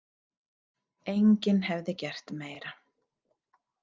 Enginn hefði gert meira.